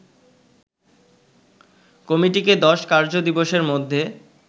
কমিটিকে ১০ কার্য দিবসের মধ্যে